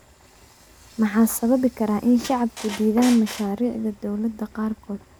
Maxaa sababi karaa in shacabku diidaan mashaariicda dowladda qaarkood?